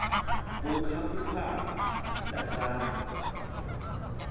ukhaphu khaphu ndatsala